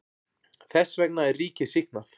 Þess vegna er ríkið sýknað.